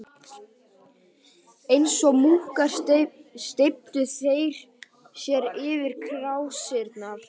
Eins og múkkar steyptu þeir sér yfir krásirnar.